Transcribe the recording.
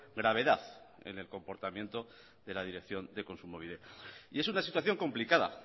gravedad en el comportamiento de la dirección de kontsumobide y es una situación complicada